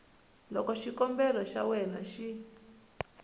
loko xikombelo xa wena xi